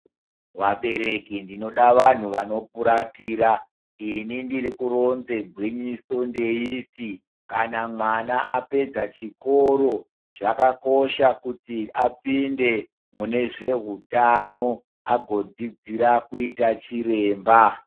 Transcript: Vabereki ndinoda vantu vanofuratira ini ndinokona gwinyiso ndeiti kana mwana Apedza chikoro zvakakosha kuti apinde mune zvehutano agodzidzira kuita chiremba.